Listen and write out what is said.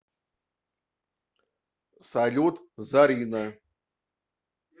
салют зарина